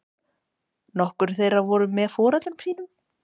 Nokkur þeirra voru með foreldrum sínum